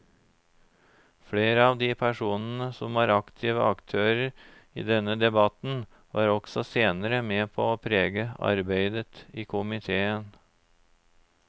Flere av de personene som var aktive aktører i denne debatten var også senere med på å prege arbeidet i komiteen.